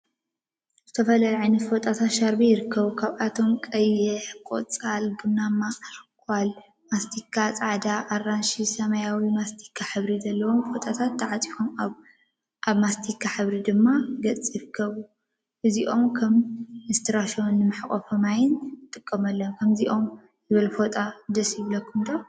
ዝተፈላለዩ ዓይነተ ፎጣታት/ሻርቢ/ ይርከቡ፡፡ ካብዚአቶም ቀይሕ፣ ቆፃል፣ ቡናማ፣ አልኮል፣ ማስቲካ፣ ፃዕዳ፣ አራንሺ፣ ሰማያዊን ማስቲካን ሕብሪ ዘለዎም ፎጣታት ተዓፃፂፎም አብ ማስቲካ ሕብሪ ድሕረ ገፅ ይርከቡ፡፡ እዚኦም ከዓ ንእስትራሾን ንመሕቆፊ ማማይን ንጥቀመሎም፡፡ ከምዚ ዝበለ ፎጣ ደስ ይበለኩም ዶ?